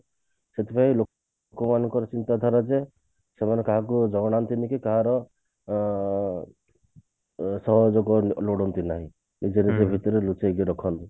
ସେଥିପାଇଁ ଲୋକମାନଙ୍କର ଚିନ୍ତାଧାରା ଯେ ସେମାନେ କାହାକୁ ଜଣୋଉ ନାହାନ୍ତି କି କାହାର ଅ ଅ ସାହାଜ୍ଯ ଲୋ ଲୋଡନ୍ତି ନାହିଁ ନିଜ ନିଜ ଭିତରେ ଲୁଚେଇକି ରଖନ୍ତି